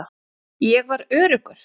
Ég var öruggur.